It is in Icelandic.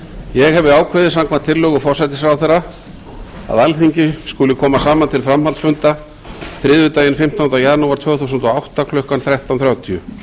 ég hefi ákveðið samkvæmt tillögu forsætisráðherra að alþingi skuli koma saman til framhaldsfunda þriðjudaginn fimmtánda janúar tvö þúsund og átta klukkan þrettán þrjátíu